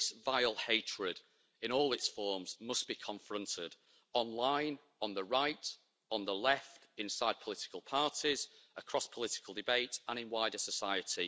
This vile hatred in all its forms must be confronted online, on the right, on the left, inside political parties, across political debate and in wider society.